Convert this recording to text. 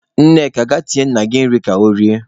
Nneka, gaa tinyere nna gị nri ka o rie!